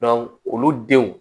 olu denw